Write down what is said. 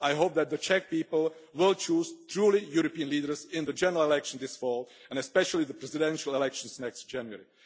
I hope that the Czech people will choose truly European leaders in the general election this fall, and especially the presidential elections next January.